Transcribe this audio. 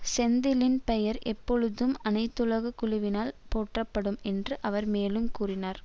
செந்திலின் பெயர் எப்பொழுதும் அனைத்துலக குழுவினால் போற்றப்படும் என்று அவர் மேலும் கூறினார்